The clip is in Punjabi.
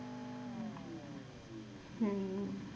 ਹਮ